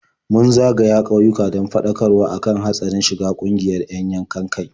Mun zagaya ƙauyuka don faɗakarwa kan hatsarin shiga ƙungiyar 'yan yankan-kai.